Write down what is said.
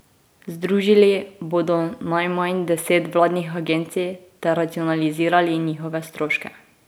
Združili bodo najmanj deset vladnih agencij ter racionalizirali njihove stroške.